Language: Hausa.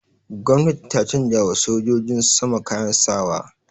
Gwamnati ta canjawa sojin sama kayan sa wa.